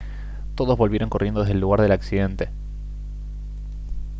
todos volvieron corriendo desde el lugar del accidente